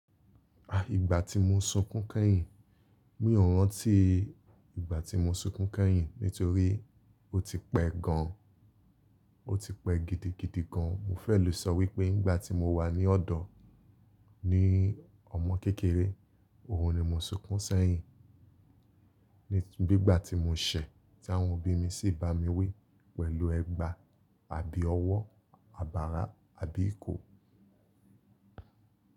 Ìgbà tí mo sunkún kẹ́yìn, mi ò rántí ìgbà tí mo sunkún kẹ́yìn nítorí ó ti pẹ́ gan an, ó ti pẹ́ gidigidi gan an. Mo fẹ́ lò sọ wípé nígbà tí mo wà ní ọ́dọ̀ ni ọmọ kékeré, òhun ni mo sunkún sẹ́yìn. Bi ígbà tí mò ṣẹ̀, tí àwọn òbí mi sì bá mi wí pẹ̀lú ẹgba àbí ọwọ́, abara àbí ìkó.